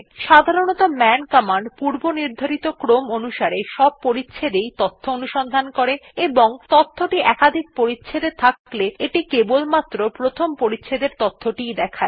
সাধারনতঃ মান কমান্ড পূর্বনির্ধারিত ক্রম অনুসারে সব পরিচ্ছেদ এই অনুসন্ধান করে এবং তথ্যটি একাধিক পরিচ্ছেদ এ থাকলে এটি কেবলমাত্র প্রথম পরিচ্ছেদ এর তথ্যটি ই দেখায়